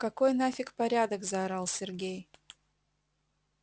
какой нафик порядок заорал сергей